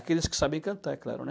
Aqueles que sabem cantar, é claro, né?